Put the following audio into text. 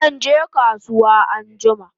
Zanje kasuwa anjima